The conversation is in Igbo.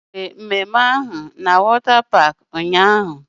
Emere emume na paakị mmiri ahụ ụnyaahụ